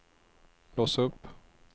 lås upp